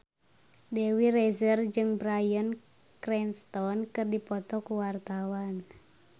Dewi Rezer jeung Bryan Cranston keur dipoto ku wartawan